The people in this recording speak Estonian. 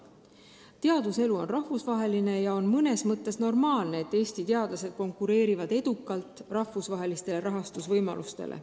Teaduselu on rahvusvaheline ja on mõnes mõttes normaalne, et Eesti teadlased konkureerivad edukalt, et saada kasutada rahvusvahelisi rahastusvõimalusi.